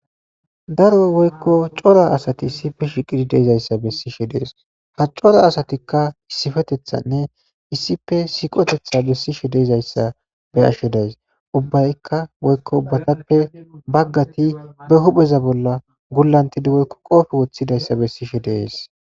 daro woykko cora asati issife shiqidi deizayssa bessishe dees ha cora asatikka issifetethanne issipe siqotetha bessishe deezayssa beyashe days ubbaykka woykko ubbatappe baggati be hupheza bolla gullantidi woykko qoofe woththidayssa bessishe deees